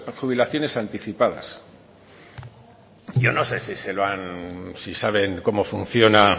jubilaciones anticipadas yo no sé si saben cómo funciona